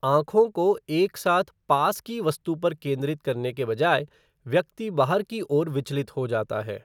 आँखों को एक साथ पास की वस्तु पर केंद्रित करने के बजाय, व्यक्ति बाहर की ओर विचलित हो जाता है।